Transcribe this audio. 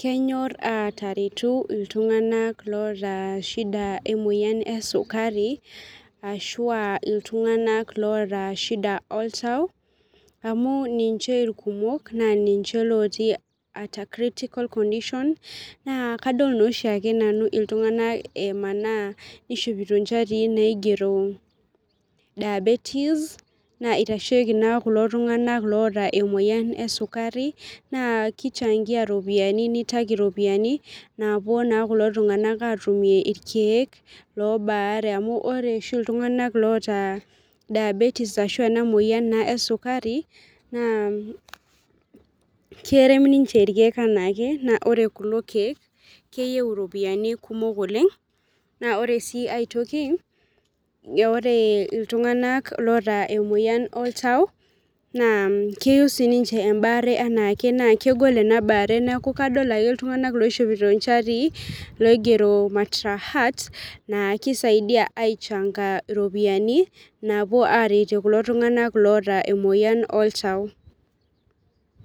kenyor ateretu iltung'ana loota shida emoyian esukuri, ashua iltung'ana loota shida oltau amuu ninche irkumok naa ninche ooti at a critical condition naa kadol naa oshiake nau iltung'ana emaana ishopito nchatii naigero diabetes naa itasheki na kulo tung'ana oota emoyian esukari naa kichangia ropiani naapuo naa kulo tung'ana atumir irkeek loobare amu ore oshi iltung'ana oota diabetes ashua naa emoyian ee sukari naa kerem ninche irkeek enake. Naa ore kulo keek, keyiou iropiani kumok oleng' . Naa ore sii aitoki ore iltung'ana oota emoyian oltau naa keyiou sik ninche ebaare enaake na kegol ena bare neeku kadol ake iltung'ana oshopi inchati naigero matra heart naa kisaidia aichanga iropiani naapuo aretie kulo tung'ana oota emoyian oltau.